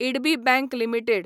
IDBI bank limited